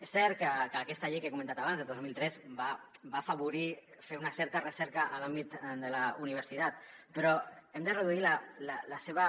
és cert que aquesta llei que he comentat abans del dos mil tres va afavorir fer una certa recerca en l’àmbit de la universitat però hem de reduir la seva